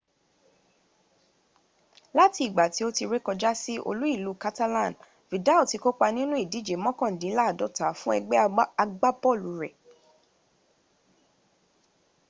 lati igba ti o ti re koja si olu-ilu catalan vidal ti ko pa ninu idije mokandinlaadota fun egbe agbabolu re